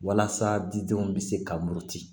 Walasa didenw bɛ se ka muruti